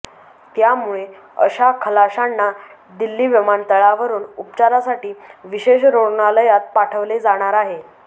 त्यामुळे अशा खलाशांना दिल्ली विमानतळावरून उपचारासाठी विशेष रुग्णालयांत पाठवले जाणार आहे